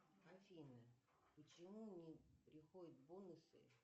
афина почему не приходят бонусы